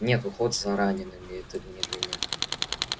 нет уход за ранеными это не для неё